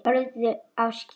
Horfðu á skýin.